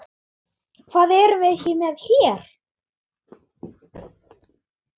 Hvað erum við með hér?